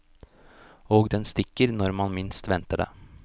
Og den stikker når man minst venter det.